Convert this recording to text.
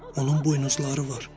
Onun buynuzları var.